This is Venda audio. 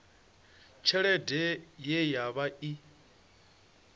tshelede ye ya vha i